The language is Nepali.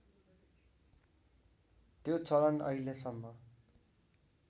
त्यो चलन अहिलेसम्म